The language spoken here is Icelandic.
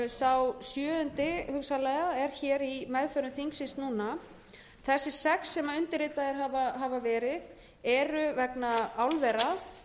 sá sjöundi hugsanlega er í meðförum þingsins núna þessir sex sem undirritaðir hafa verið eru vegna álvera